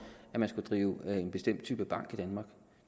at man skal drive en bestemt type bank i danmark